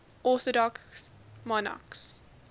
orthodox monarchs